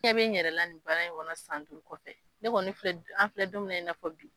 N ɲɛ be n yɛrɛla ni baara in kɔnɔ san duuru kɔfɛ ne kɔni filɛ bi an filɛ don min na i n'a fɔ bi